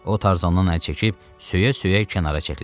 O Tarzandan əl çəkib söyə-söyə kənara çəkildi.